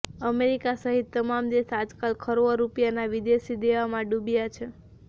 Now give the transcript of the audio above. America સહિત તમામ દેશ આજકાલ ખરવો રૂપિયાનાં વિદેશી દેવામાં ડૂબ્યા છે